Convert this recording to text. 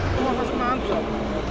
Həmin o da mənimdir.